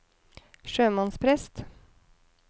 sjømannsprest